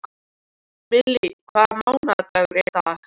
Millý, hvaða vikudagur er í dag?